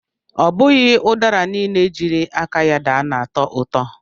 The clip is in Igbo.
Ọbụghị ụdara niile jiri aka ya daa na-atọ ụtọ